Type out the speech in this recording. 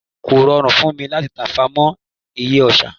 kò rọrùn fún mí láti tafà mọ eye àsá